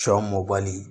Sɔ mɔbali